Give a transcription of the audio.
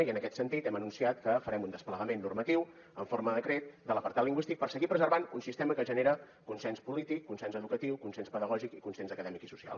i en aquest sentit hem anunciat que farem un desplegament normatiu en forma de decret de l’apartat lingüístic per seguir preservant un sistema que genera consens polític consens educatiu consens pedagògic i consens acadèmic i social